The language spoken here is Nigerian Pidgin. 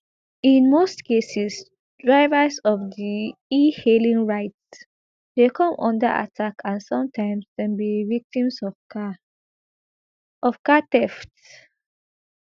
in most cases drivers of di ehailing rides dey come under attack and sometimes dem be victims of car of car theft